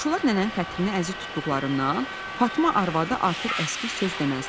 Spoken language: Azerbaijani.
Qonşular nənənin xətrini əziz tutduqlarından Fatma arvadı artıq əskik söz deməzdilər.